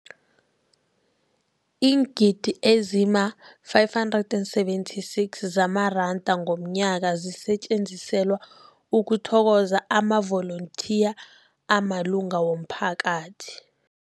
Iingidi ezima-576 zamaranda ngomnyaka zisetjenziselwa ukuthokoza amavolontiya amalunga womphakathi.